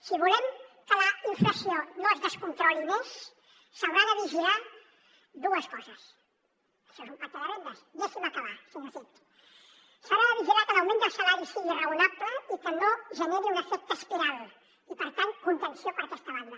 si volem que la inflació no es descontroli més s’hauran de vigilar dues coses això és un pacte de rendes deixi’m acabar senyor cid s’haurà de vigilar que l’augment dels salaris sigui raonable i que no generi un efecte espiral i per tant contenció per aquesta banda